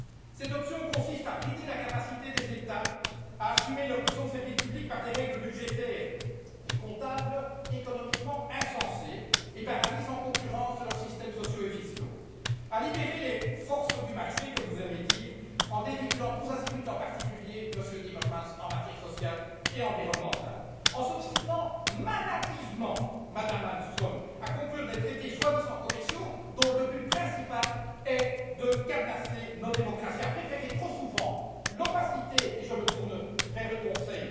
Cette option consiste à brider la capacité des États à assumer leur mission de service public par des règles budgétaires et comptables économiquement insensées et par la mise en concurrence de leurs systèmes sociaux et fiscaux, à libérer les forces du marché comme vous aimez dire en dérégulant tous azimuts, en particulier, Monsieur Timmermans, en matière sociale et environnementale, en s'obstinant maladivement Madame Malmström à conclure des traités soi disant commerciaux dont le but principal est de cadenasser nos démocraties, à préférer trop souvent l'opacité et je me tourne vers le Conseil